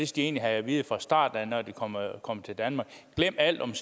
de egentlig have at vide fra starten når de kommer til danmark glem alt om